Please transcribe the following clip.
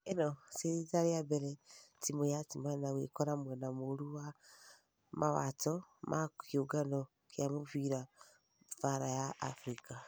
ĩno ti rita rĩa mbere timũ ya timana gwekora mwena mũru wa mawato ma kĩũngano gia mũfira baara ya africa.